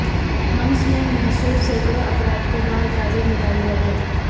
حمس میں محصور سینکڑوں افراد کو بحفاظت نکال لیا گیا